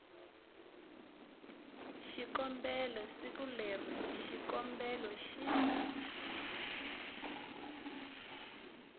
xikombelo siku leri xikombelo xi